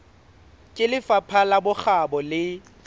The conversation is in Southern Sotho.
ke lefapha la bokgabo le